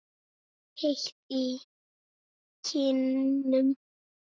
Heit í kinnum.